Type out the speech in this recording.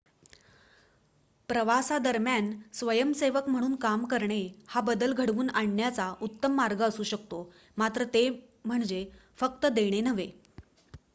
प्रवासादरम्यान स्वयंसेवक म्हणून काम करणे हा बदल घडवून आणण्याचा उत्तम मार्ग असू शकतो मात्र ते म्हणजे फक्त देणे नव्हे